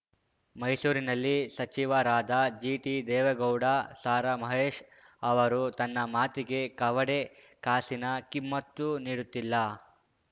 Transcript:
ಮೈಸೂರಿನಲ್ಲಿ ಸಚಿವರಾದ ಜಿಟಿ ದೇವೇಗೌಡ ಸಾರಾ ಮಹೇಶ್ ಅವರು ತನ್ನ ಮಾತಿಗೆ ಕವಡೆ ಕಾಸಿನ ಕಿಮ್ಮತ್ತು ನೀಡುತ್ತಿಲ್ಲ